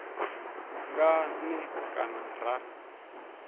nga n e kana ra